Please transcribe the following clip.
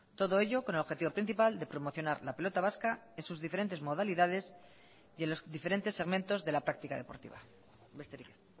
todo ello con el objetivo principal de promocionar la pelota vasca en sus diferentes modalidades y en los diferentes segmentos de la práctica deportiva besterik ez